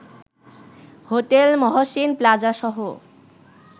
hotel Mohsin প্লাজাসহ